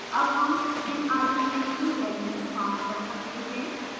अब हम भिन्न arguments की values pass कर सकते हैं